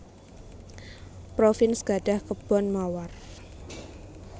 Provins gadhah kebon mawar